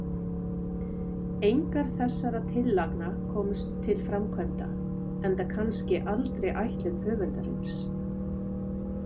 Engar þessara tillagna komust til framkvæmda, enda kannski aldrei ætlun höfundarins.